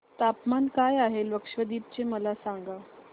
तापमान काय आहे लक्षद्वीप चे मला सांगा